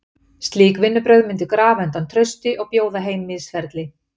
Slík vinnubrögð myndu grafa undan trausti og bjóða heim misferli.